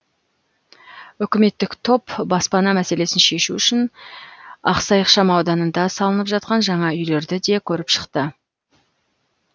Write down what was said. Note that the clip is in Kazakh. үкіметтік топ баспана мәселесін шешу үшін ақсай ықшам ауданында салынып жатқан жаңа үйлерді де көріп шықты